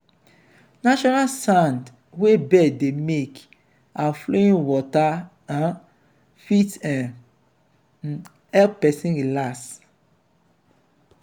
natural sound wey bird dey make and flowing water um fit um help person relax